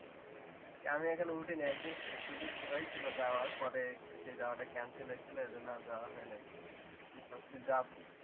কে আমি এখনো উঠিনি। একদিন সুযোগ হয়েছিল যাওয়ার পরে সেই যাওয়া টা cancel হয়েছিল এই জন্য আর যাওয়া হয় নাই। ভাবছি যাবো